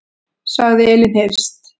Sagði Elín Hirst.